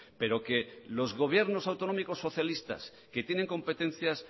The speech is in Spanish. pero que los gobiernos autonómicos socialistas que tienen competencias